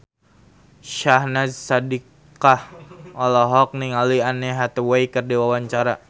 Syahnaz Sadiqah olohok ningali Anne Hathaway keur diwawancara